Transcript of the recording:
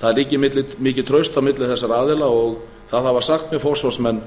það ríkir mikið traust milli þessara aðila og það hafa sagt mér forsvarsmenn